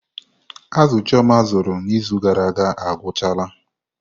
Azụ chioma azụrụ n'izu gara aga agwụchala.